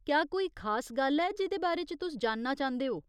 क्या कोई खास गल्ल ऐ जेह्दे बारे च तुस जानना चांह्दे ओ ?